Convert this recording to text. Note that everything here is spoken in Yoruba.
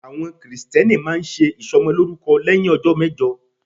Àwọn Kristẹni máa ń ṣe ìsọmọlórúkọ lẹ́hìn ọjọ́ mẹ́jọ.